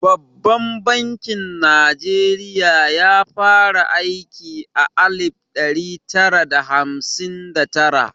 Babban bankin Najeriya ya fara aiki a alif ɗari tara da hamsin da tara.